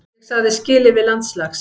Ég sagði skilið við landslags